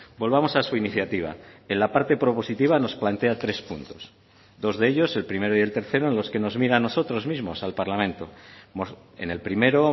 volvamos a su iniciativa en la parte propositiva nos plantea tres puntos dos de ellos el primero y el tercero en los que nos mira a nosotros mismos al parlamento en el primero